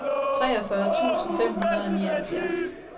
treogfyrre tusind fem hundrede og nioghalvfjerds